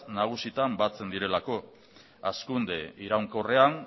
nagusitan batzen direlako hazkunde iraunkorrean